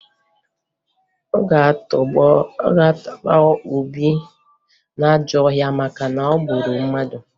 A ga-atụba Obi n'ajọ ọhịa maka na o gburu mmadụ